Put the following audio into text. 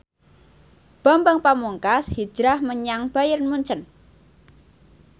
Bambang Pamungkas hijrah menyang Bayern Munchen